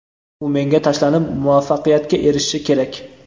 u menga tashlanib muvaffaqiyatga erishishi kerak.